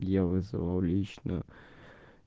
я вызвал лично